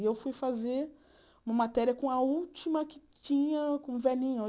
E eu fui fazer uma matéria com a última que tinha, com o velhinho.